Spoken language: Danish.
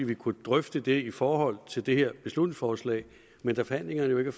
vi kunne drøfte det i forhold til det her beslutningsforslag men da forhandlingerne jo ikke